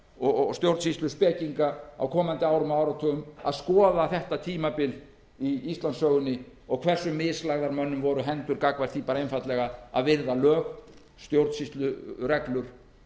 og stjórnsýsluspekinga á komandi árum og áratugum að skoða þetta tímabil í íslandssögunni hversu mislagðar mönnum voru hendur einfaldlega gagnvart því að virða lög stjórnsýslureglur